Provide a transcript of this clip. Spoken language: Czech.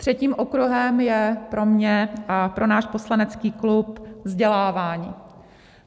Třetím okruhem je pro mě a pro náš poslanecký klub vzdělávání.